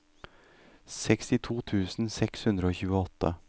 sekstito tusen seks hundre og tjueåtte